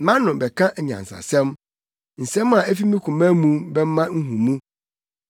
Mʼano bɛka anyansasɛm; nsɛm a efi me koma mu bɛma nhumu.